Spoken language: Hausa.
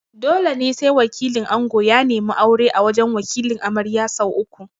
Dole ne sai wakilin ango ya neme aure a wajan Wakilin amarya sau uku